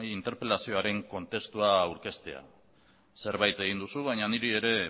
interpelazioaren kontestua aurkeztea zerbait egin duzu baina niri ere